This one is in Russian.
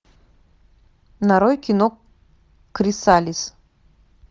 нарой кино крисалис